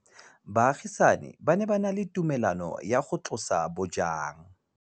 Baagisani ba ne ba na le tumalanô ya go tlosa bojang.